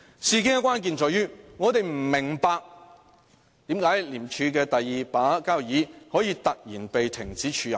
事件的關鍵在於，我們不明白為何廉署的"第二把交椅"可以突然被停止署任。